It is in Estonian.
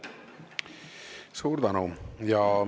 Suur tänu!